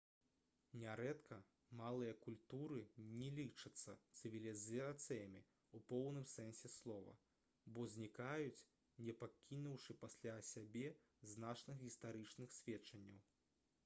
нярэдка малыя культуры не лічацца цывілізацыямі ў поўным сэнсе слова бо знікаюць не пакінуўшы пасля сябе значных гістарычных сведчанняў